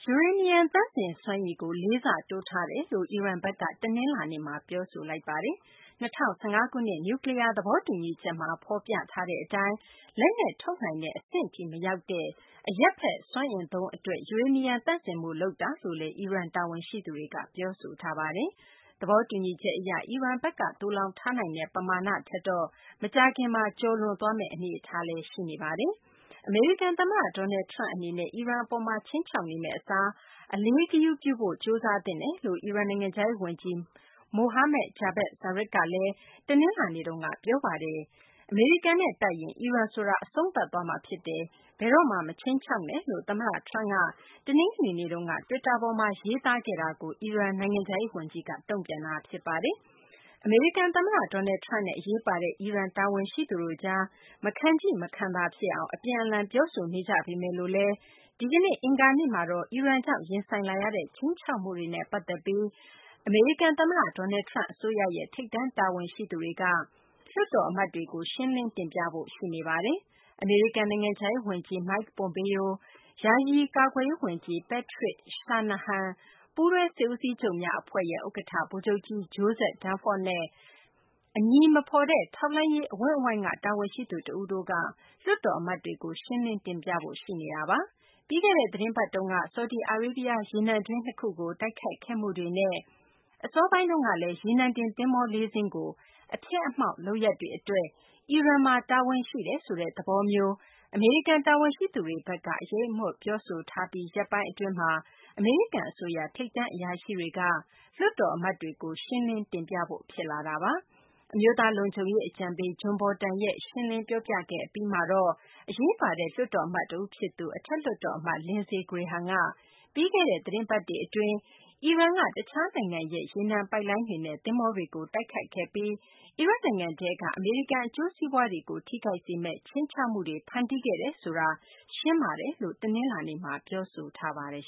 ယူရေနီယံ သန့်စင် စွမ်းရည်ကို လေးဆတိုး ထားတယ်လို့ အီရန်ဘက်က တနလာၤနေ့မှာ ပြောဆိုလိုက်ပါတယ်။ ၂၀၁၅ ခုနှစ် နျူးကလီးယား သဘောတူညီချက်မှာ ဖော်ပြထားတဲ့ အတိုင်း လက်နက် ထုတ်နိုင်တဲ့ အဆင့်နဲ့ အလှမ်းဝေးတဲ့ အရပ်ဘက် စွမ်းအင် အသုံးအတွက် ယူရေနီယံ သန့်စင်မှုကို လုပ်သွားမှာ ဖြစ်တယ်လို့ အီရန် တာဝန်ရှိသူတွေက ပြောပါတယ်။ အမေရိကန်သမ္မတ Donald Trump အနေနဲ့ အီရန်အပေါ် ခြိမ်းခြောက်နေမယ့်အစား အလေးဂရုပြုဖို့ ကြိုးစားသင့်တယ်လို့ အီရန်နိုင်ငံခြားရေးဝန်ကြီး Mohammad Javad Zarif က တနလာၤနေ့မှာဘဲ ပြောထားတာပါ။ အမေရိကန်နဲ့တိုက်ရင် အီရန်ဆိုတာ အဆုံးသတ်သွားမှာဖြစ်တယ်၊ နောက်ထပ် ဘယ်တော့မှ မခြိမ်းခြောက်ပါနဲ့လို့ သမ္မတ Trump ကတနင်္ဂနွေနေ့က Twitter ပေါ်မှာ ရေးသားခဲ့တာကို အီရန်နိုင်ငံခြားရေးဝန်ကြီးက ခုလိုတုံ့ပြန်လိုက်တာပါ။ အမေရိကန် သမ္မတ Donald Trump နဲ့ အရေးပါတဲ့ အီရန် တာဝန်ရှိသူတို့ကြား မခံချိ မခံသာဖြစ်အောင် အပြန်အလှန် ပြောဆိုနေကြပေမယ်လို့လည်း ဒီကနေ့ အင်္ဂါနေ့မှာတော့ အီရန်ကြောင့် ရင်ဆိုင်လာရတဲ့ ခြိမ်းခြောက်မှုတွေနဲ့ ပတ်သက်ပြီး အမေရိကန် သမ္မတ Donald Trump အစိုးရရဲ့ ထိပ်တန်း အရာရှိတွေက လွှွတ်တော်အမတ်တွေကို ရှင်းပြဖို့ ရှိနေပါတယ်။ အမေရိကန် နိုင်ငံခြားရေး ဝန်ကြီး Mike Pompeo၊ ယာယီ ကာကွယ်ရေး ဝန်ကြီး Patrick Shanahan ၊ ပူးတွဲစစ်ဦးစီးချုပ်များ အဖွဲ့ ဥက္ကဌ ဗိုလ်ချုပ်ကြီး Joseph Dunford နဲ့ အမည်မဖော်တဲ့ ထောက်လှမ်းရေး အဝန်းအဝိုင်းက တာဝန်ရှိသူ တဦးတို့က လွှတ်တော် အမတ်တွေကို ရှင်းလင်း တင်ပြဖို့ စီစဉ်ထားတာပါ။ ပြီးခဲ့တဲ့ သီတင်းပတ်တုန်းက ဆော်ဒီအာရေဗျ ရေနံတွင်း နှစ်ခုကို တိုက်ခိုက်ခဲ့မှုတွေနဲ့ အစောပိုင်းတုန်းက ရေနံတင် သဘောၤ ၄ စင်းကို အဖျက်အမှောင့် လုပ်ရပ်တွေ အတွက် အီရန်မှာ တာဝန်ရှိတယ်ဆိုတဲ့ သဘောမျိုး အမေရိကန် တာဝန်ရှိသူတွေက အရိပ်အမြွက် ပြောကြားပြီး ရက်ပိုင်းအကြာမှာ အမေရိကန် အစိုးရ ထိပ်တန်း အရာရှိတွေက လွှတ်တော် အမတ်တွေကို ရှင်းလင်းတင်ပြဖို့ ဖြစ်လာတာပါ။ အမျိုးသား လုံခြုံရေး အကြံပေး John Bolton က ရှင်းလင်း ပြောပြခဲ့ အပြီးမှာတော့ အရေးပါတဲ့ လွှတ်တော် အမတ်တဦးဖြစ်သူ အထက်လွှတ်တော် အမတ် Lindsey Graham က ပြီးခဲ့တဲ့ သတင်းပတ်တွေ အတွင်း အီရန်က တခြားနိုင်ငံရဲ့ ရေနံပိုက်လိုင်းတွေနဲ့ သဘောၤတွေကို တိုက်ခိုက်ခဲ့ပြီး အီရတ်နိုင်ငံထဲက အမေရိကန် အကျိုးစီးပွားတွေကို ထိခိုက်စေမယ့် ခြိမ်းခြောက်မှုတွေ ဖန်တီးခဲ့တယ်ဆိုတာ ရှင်းပါတယ်လို့ တနလာၤနေ့မှာ ပြောဆိုခဲ့ပါတယ်